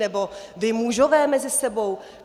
Nebo vy mužové mezi sebou?